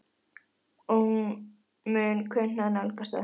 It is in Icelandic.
Og hún mun kunna að nálgast það.